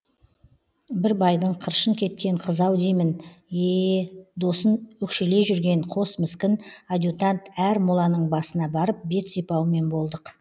бір байдың қыршын кеткен қызы ау деймін еее досын өкшелей жүрген қос міскін адьютант әр моланың басына барып бет сипаумен болдық